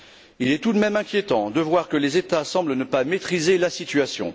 Il est tout de même inquiétant de voir que les États ne semblent pas maîtriser la situation.